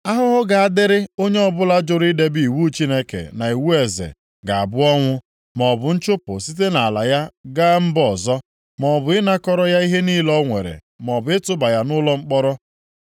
Ahụhụ ga-adịrị onye ọbụla jụrụ idebe iwu Chineke, na iwu eze, ga-abụ ọnwụ, maọbụ nchụpụ site nʼala ya gaa mba ọzọ, maọbụ ịnakọrọ ya ihe niile o nwere, maọbụ ịtụba ya nʼụlọ mkpọrọ.” + 7:26 E dere akwụkwọ ozi a, nke sitere nʼamaokwu nke iri na abụọ ruo nke iri abụọ nʼisii nʼasụsụ Aramaik (ndị Siria) nke bụ usoro asụsụ mba na mba ji emerikọta ihe nʼoge ahụ.